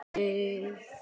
Þú segir ekki!?!